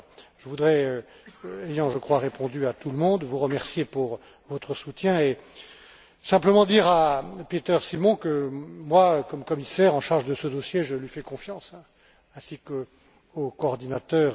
Je voudrais ayant je crois répondu à tout le monde vous remercier pour votre soutien et simplement dire à Peter Simon qu'en tant que commissaire en charge de ce dossier je lui fais confiance ainsi qu'au coordinateur.